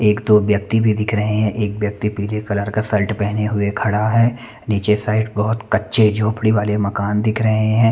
एक-दो व्यक्ति भी दिख रहे है एक व्यक्ति पीले कलर का शर्ट पेहने हुए खडा है नीचे साइड बहोत कच्चे झोपडी वाले मकान दिख रहे है।